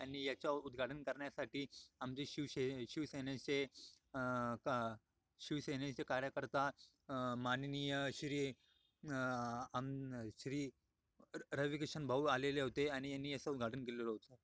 आणि याचा उत्घाटन करण्यासाठी आमचे शिवसे शिवसेनेचे शिवसेनेचे कार्यकर्ता माननीय श्री उम् श्री रविकिशन भाऊ आलेले होते आणि याच उत्घाटन केलेले होते.